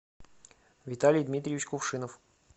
виталий дмитриевич кувшинов